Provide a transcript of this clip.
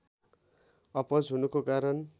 अपच हुनुको कारण